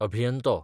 अभियंतो